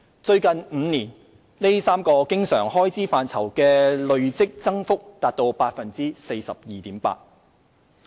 最近5年，這3個經常開支範疇的累積增幅達 42.8%。